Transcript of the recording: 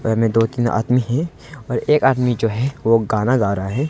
घर में दो तीन आदमी है और एक आदमी जो है वो गाना गा रहा है।